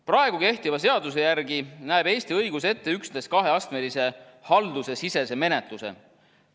Praegu kehtiva seaduse järgi näeb Eesti õigus ette üksnes kaheastmelise haldusesisese menetluse.